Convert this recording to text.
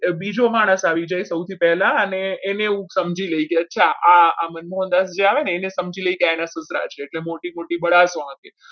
બીજો માણસ આવી જાય સૌથી પહેલા અને એને હું સમજી લઈ ગયો છું અને આ સમજી લીધા છે એના એટલે મોટી મોટી બડા કે